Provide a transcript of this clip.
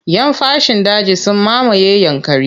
Yan fashin daji sun mamaye Yankari.